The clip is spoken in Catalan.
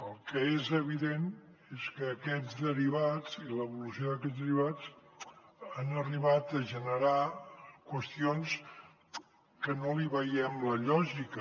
el que és evident és que aquests derivats i l’evolució d’aquests derivats han arribat a generar qüestions que no li veiem la lògica